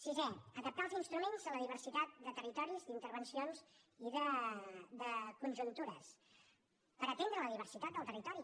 sisè adaptar els instruments a la diversitat de territoris d’intervencions i de conjuntures per atendre la diversitat del territori